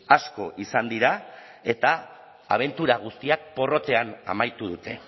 asko izan dira eta abentura guztiak porrotean amaitu dute